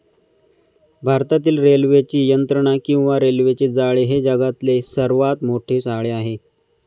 भारतातील रेल्वेची यंत्रणा किंवा रेल्वेचे जाळे हे जगातले सर्वात मोठे जाळे आहे.